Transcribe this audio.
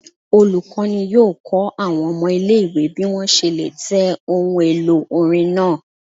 Olukọni yọọ kọ awọn ọmọ ile-iwe bi wọn ṣe le tẹ ohún-elo orín naa